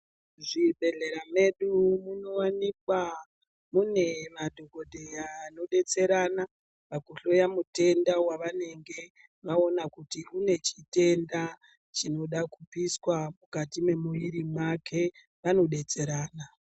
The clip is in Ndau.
Zvibhedhlera medu munowanikwa mune madhokodheya anodetserana pakuhloya mutenda wavanenge vaona kuti une chitenda chinoda kubviswa mukati mwemuviri mwake vanobetserana.